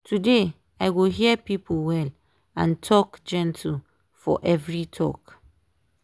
today i go hear people well and talk gentle for every talk.